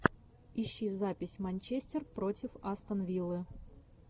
ищи запись манчестер против астон виллы